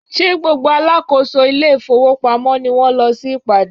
Ṣé gbogbo alákòóso ile-ifowopamo ni wón lọ sí ìpàdé?